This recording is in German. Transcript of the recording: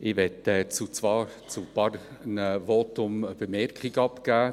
Ich möchte zwar zu einigen Voten eine Bemerkung machen.